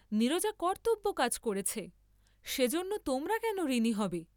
নীরজা কর্ত্তব্য কাজ করেছে, সেজন্য তোমরা কেন ঋণী হবে?